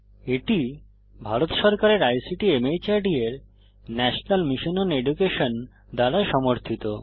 এটি ভারত সরকারের ICT MHRD এর ন্যাশনাল মিশন ওন এডুকেশন দ্বারা সমর্থিত